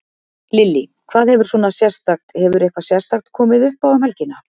Lillý: Hvað hefur svona sérstakt, hefur eitthvað sérstakt komið uppá um helgina?